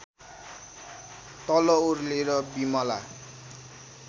तल ओर्लेर बिमला